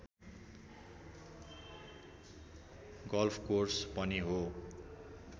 golf course पनि हो